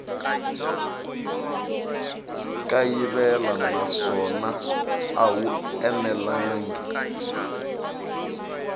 kayivela naswona a wu enelangi